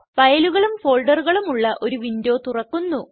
ഫയലുകളും ഫോൾഡറുകളും ഉള്ള ഒരു വിൻഡോ തുറക്കുന്നു